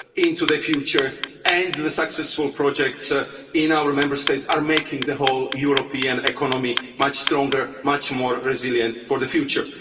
into the future and that the successful projects in our Member States are making the whole European economy much stronger, much more resilient for the future.